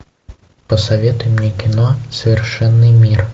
посоветуй мне кино совершенный мир